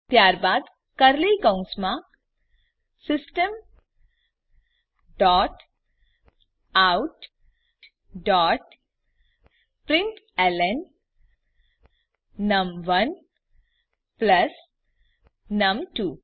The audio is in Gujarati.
ત્યારબાદ કર્લી કૌંસમા system dot out dot println નમ1 પ્લસ નમ2